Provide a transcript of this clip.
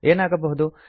ಏನಾಗಬಹುದು